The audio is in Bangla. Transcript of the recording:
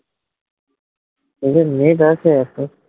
কিন্তু net আছে।